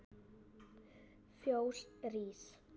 Fjós rís